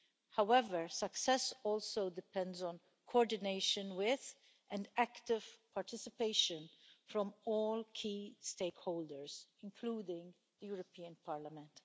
However, success also depends on coordination with, and active participation from, all key stakeholders, including the European Parliament.